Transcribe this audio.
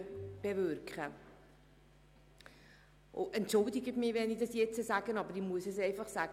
Bitte entschuldigen Sie mich, wenn ich jetzt Folgendes sage, aber ich muss es einfach sagen: